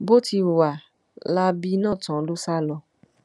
bó ti hùwà láabi náà tán ló sá lọ